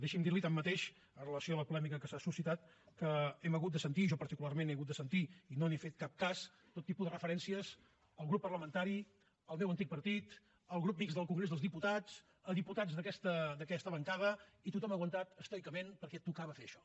deixi’m dir li tanmateix amb relació a la polèmica que s’ha suscitat que hem hagut de sentir jo particularment he hagut de sentir i no n’he fet cap cas tot tipus de referències al grup parlamentari al meu antic partit al grup mixt del congrés dels diputats a diputats d’aquesta bancada i tothom ha aguantat estoicament perquè tocava fer això